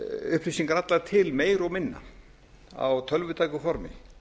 upplýsingar allar til meira og minna á tölvutæku formi